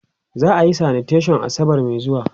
za'a Yi sanitation asabar Mai zuwa